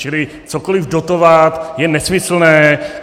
Čili cokoli dotovat je nesmyslné.